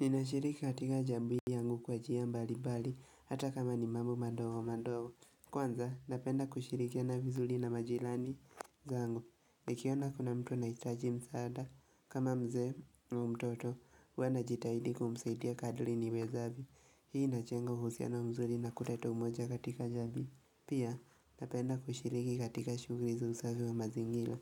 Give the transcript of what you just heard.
Ninashiriki katika jamii yangu kwa njia mbalimbali, hata kama ni mambo madogo madogo. Kwanza, napenda kushirikiana vizuri na majirani zangu. Nikiona kuna mtu anahitaji msaada, kama mzee au mtoto huwa najitahidi kumsaidia kadri niwezavyo. Hii inajenga uhusiano mzuri na kuleta umoja katika jamii. Pia, napenda kushiriki katika shughuli za usafi wa mazingira.